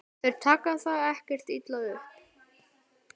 Þeir taka það ekkert illa upp.